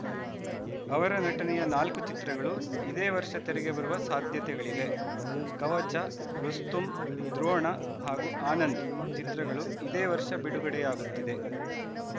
ಅವರ ನಟನೆಯ ನಾಲ್ಕು ಚಿತ್ರಗಳು ಇದೇ ವರ್ಷ ತೆರೆಗೆ ಬರುವ ಸಾಧ್ಯತೆಗಳಿವೆ ಕವಚ ರುಸ್ತುಂ ದ್ರೋಣ ಹಾಗೂ ಆನಂದ್‌ ಚಿತ್ರಗಳು ಇದೇ ವರ್ಷ ಬಿಡುಗಡೆಯಾಗುತ್ತಿದೆ